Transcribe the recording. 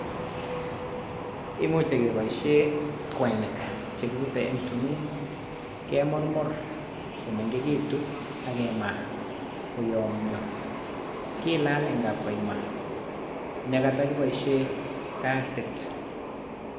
Imuchi keboisie kwenik che kibute eng tumin, kemurmur komengekitu akemaa koyomnyo, kilaal eng kapkaima ne kotokiboisie kasit.